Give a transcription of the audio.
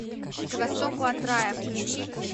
к востоку от рая включи